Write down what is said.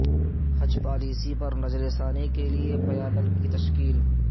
حج policy پر نظر ثانی کے لئے پیانل کی تشکیل